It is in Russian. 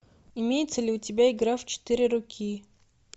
имеется ли у тебя игра в четыре руки